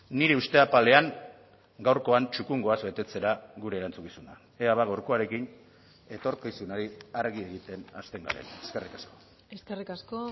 nire uste apalean gaurkoan txukun goaz betetzera gure erantzukizuna ea ba gaurkoarekin etorkizunari argi egiten hasten garen eskerrik asko eskerrik asko